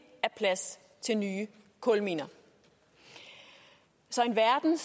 er plads til nye kulminer så i en verden